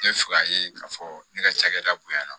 N bɛ fɛ k'a ye k'a fɔ ne ka cakɛda bonyana